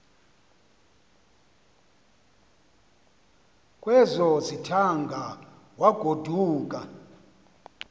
kwezo zithaanga wagoduka